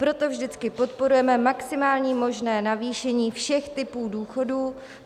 Proto vždycky podporujeme maximální možné navýšení všech typů důchodu.